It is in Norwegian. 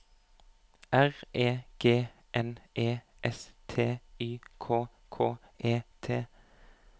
R E G N E S T Y K K E T